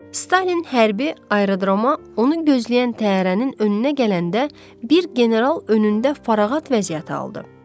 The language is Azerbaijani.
Stalin hərbi aerodroma, onu gözləyən təyyarənin önünə gələndə bir general önündə fərağət vəziyyəti aldı.